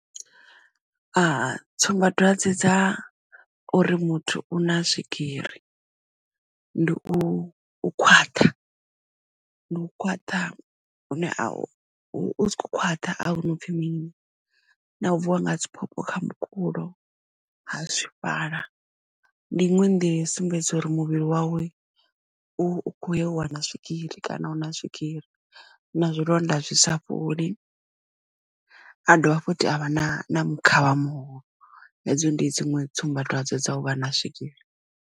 A tsumbadwadze dza uri muthu u na swigiri ndi u khwaṱha ndi u khwaṱha u sa kho khwaṱha a hu na upfhi mini na u vuwa nga dziphopho kha mukulo ha swifhala ndi iṅwe nḓila yo sumbedza uri muvhili wawe u kho wana swigiri kana u na swigiri na zwilonda zwi sa fholi a dovha futhi avha na mukhavha muhulu hedzo ndi dziṅwe tsumbadwadze dza u vha na swigiri.